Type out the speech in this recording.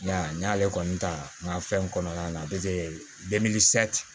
N y'a n y'ale kɔni ta n ka fɛn kɔnɔna na